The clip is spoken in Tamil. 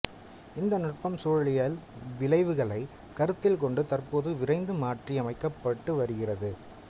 இந்த நுட்பம் சூழலியல் விளைவுகளை கருத்தில் கொண்டு தற்போது விரைந்து மாற்றியமைக்கப்பட்டு வருகிறது